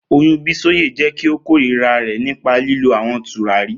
Oyun Bisoye jẹ ki o korira rẹ nipa lilo awọn turari.